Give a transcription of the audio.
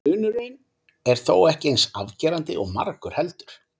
Munurinn er þó ekki eins afgerandi og margur heldur.